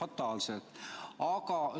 fataalselt lõppeda.